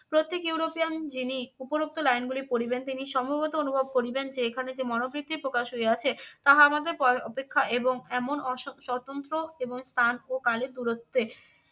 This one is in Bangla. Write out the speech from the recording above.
প্রত্যেক ইউরোপিয়ান যিনি উপরোক্ত line গুলি পড়িবেন তিনি সম্ভবত অনুভব করিবেন যে এখানে যে মনো বৃত্তি প্রকাশ হইয়াছে তাহা আমাদের অপেক্ষা এবং এমন অস~ স্বতন্ত্র এবং স্থান ও কালের দূরত্বে